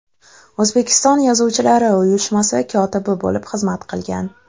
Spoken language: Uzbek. O‘zbekiston Yozuvchilari uyushmasi kotibi bo‘lib xizmat qilgan.